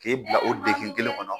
K'e bila o degun kelen kɔnɔ.